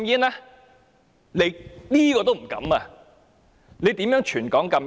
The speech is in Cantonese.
你一定不敢，遑論全港禁煙。